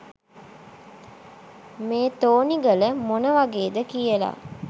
මේ තෝනිගල මොන වගේද කියල.